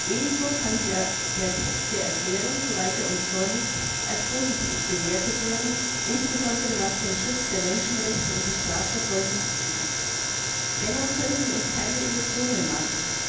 Ebenso kann der Text der Erklärung soweit er uns vorliegt als positiv bewertet werden, insbesondere was den Schutz der Menschenrechte und die Strafverfolgung betrifft. Dennoch können wir uns keine Illusionen machen.